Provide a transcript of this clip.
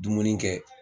Dumuni kɛ